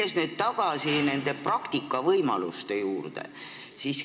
Lähen nüüd tagasi praktikavõimaluste juurde.